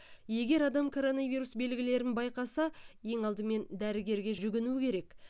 егер адам коронавирус белгілерін байқаса ең алдымен дәрігерге жүгіну керек